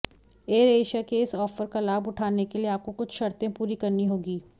AirAsia के इस offer का लाभ उठाने के लिए आपको कुछ शर्तें पूरी करनी होगी